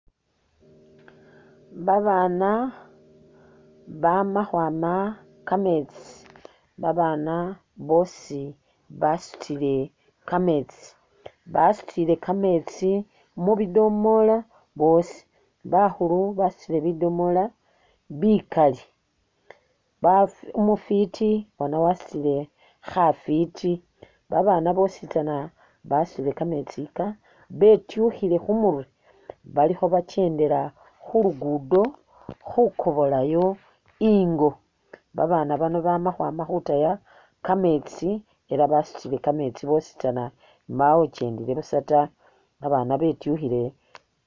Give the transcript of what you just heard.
Ba baana bama khwama kametsi, ba baana bosi basutile kametsi, basutile kametsi mu bidomola bosi, bakhulu basutile bidomola bikali, umufiti bona wasutile khafiti ba baana bosi basutile kametsi ika betukhile kumurwe balikho ba kyendela khu lugudo khukobolayo ingo ba baana bano bama khwama khutaya kametsi ela basutile kametsi bositsana mbawo ukyendele busa ta ba baana betukhile.